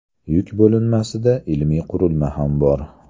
Yuk bo‘linmasida ilmiy qurilma ham bor.